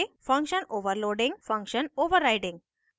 function overloading function overriding